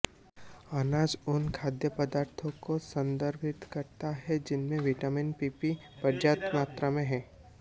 अनाज उन खाद्य पदार्थों को संदर्भित करता है जिनमें विटामिन पीपी पर्याप्त मात्रा में है